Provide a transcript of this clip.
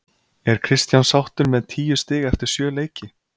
Er Kristján sáttur með tíu stig eftir sjö leiki?